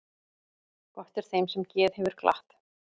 Gott er þeim sem geð hefur glatt.